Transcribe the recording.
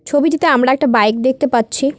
ছবিটিতে আমরা একটা বাইক দেখতে পাচ্ছি।